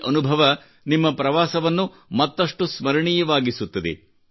ಈ ಅನುಭವ ನಿಮ್ಮ ಪ್ರವಾಸವನ್ನು ಮತ್ತಷ್ಟು ಸ್ಮರಣೀಯವಾಗಿಸುತ್ತದೆ